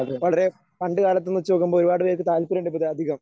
വളരെ പണ്ടുകാലത്ത് നിന്ന് വെച്ചുനോക്കുമ്പോൾ ഒരുപാട് പേർക്ക് താല്പര്യമുണ്ട് ഇപ്പോ ഇത് അധികം.